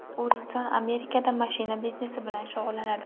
U inson Amerikada mashina biznesi bilan shug‘ullanadi.